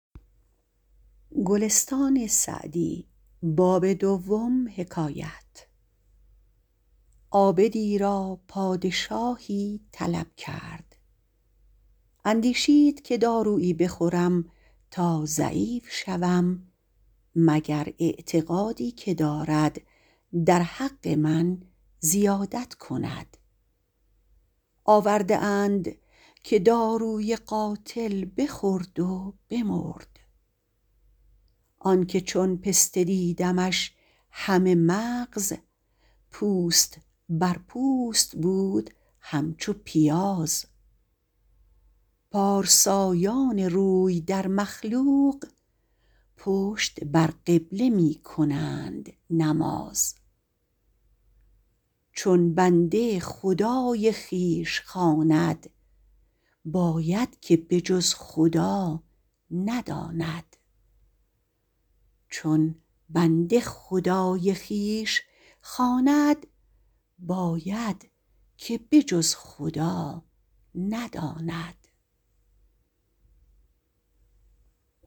عابدی را پادشاهی طلب کرد اندیشید که دارویی بخورم تا ضعیف شوم مگر اعتقادی که دارد در حق من زیادت کند آورده اند که داروی قاتل بخورد و بمرد آن که چون پسته دیدمش همه مغز پوست بر پوست بود همچو پیاز پارسایان روی در مخلوق پشت بر قبله می کنند نماز چون بنده خدای خویش خواند باید که به جز خدا نداند